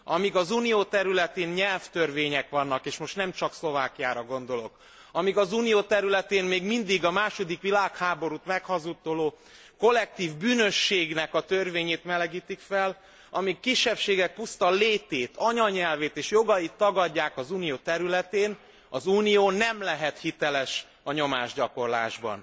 Amíg az Unió területén nyelvtörvények vannak és most nem csak Szlovákiára gondolok, amíg az Unió területén még mindig a második világháborút meghazudtoló kollektív bűnösségnek a törvényét melegítik fel, amíg kisebbségek puszta létét, anyanyelvét és jogait tagadják az Unió területén, az Unió nem lehet hiteles a nyomásgyakorlásban.